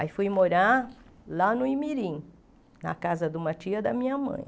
Aí fui morar lá no Imirim, na casa de uma tia da minha mãe.